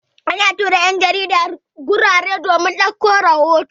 Ana tura 'yan jarida wurare domin ɗauko rahoto.